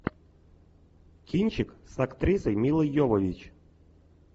кинчик с актрисой милой йовович